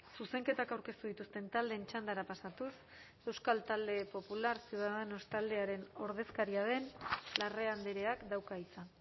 zuzenketak aurkeztu dituzten taldeen txandara pasatuz euskal talde popular ciudadanos taldearen ordezkaria den larrea andreak dauka hitza